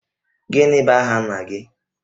Gịnị bụ aha nna gị?